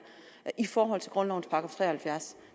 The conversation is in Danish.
i forhold til grundlovens § 73